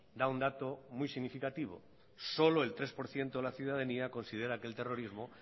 da un dato muy significativo solo el tres por ciento de la ciudadanía considera que el terrorismo